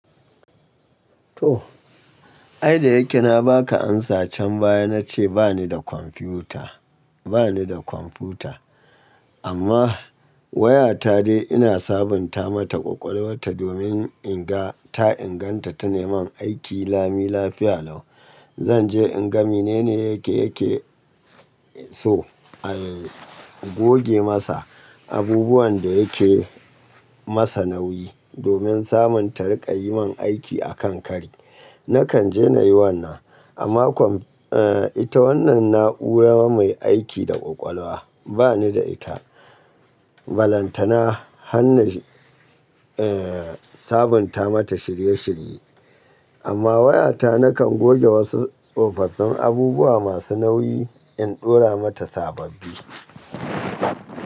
To, ai da yake na ba ka amsa can baya, na ce ba ni da kwamfuta, ba ni da kwamfuta. Amma wayata dai ina sabunta mata ƙwaƙwalwarta domin in ga ta inganta ta neman aiki lami lafiya lau. Zanje in ga mene ne yake yake so a goge masa, abubuwan da yake masa nauyi domin samun ta riƙa yi min aiki a kan kari. Nakan je nayi wannan. Amma eh ita wannan na'ura mai aiki da ƙwaƙwalwa ba ni da ita. Balantana hanna eh sabunta mata shirye shirye. Amma wayata nakan goge wasu tsofaffin abubuwa masu nauyi in ɗora mata sababbi.